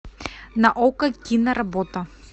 на окко киноработа